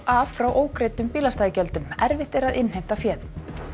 af frá ógreiddum bílastæðagjöldum erfitt er að innheimta féð